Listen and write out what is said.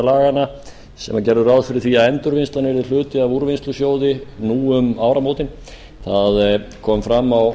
laganna sem gera ráð fyrir því að endurvinnslan verði hluti af úrvinnslusjóði nú um áramótin það kom fram á